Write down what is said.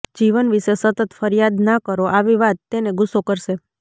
જીવન વિશે સતત ફરિયાદ ના કરો આવી વાત તેને ગુસ્સો કરશે